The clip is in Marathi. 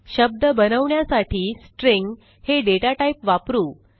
शब्द बनवण्यासाठी स्ट्रिंग हे दाता टाइप वापरू